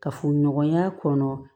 Kafo ɲɔgɔnya kɔnɔ